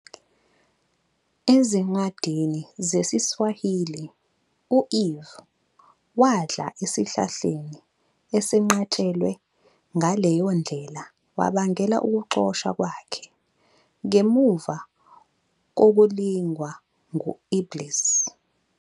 Ezincwadini zesiSwahili, u-Eve wadla esihlahleni esenqatshelwe, ngaleyo ndlela wabangela ukuxoshwa kwakhe, ngemuva kokulingwa ngu-Iblis.